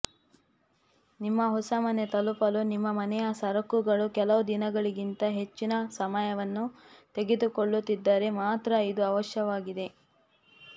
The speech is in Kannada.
ನಿಮ್ಮ ಹೊಸ ಮನೆ ತಲುಪಲು ನಿಮ್ಮ ಮನೆಯ ಸರಕುಗಳು ಕೆಲವು ದಿನಗಳಿಗಿಂತ ಹೆಚ್ಚಿನ ಸಮಯವನ್ನು ತೆಗೆದುಕೊಳ್ಳುತ್ತಿದ್ದರೆ ಮಾತ್ರ ಇದು ಅವಶ್ಯಕವಾಗಿದೆ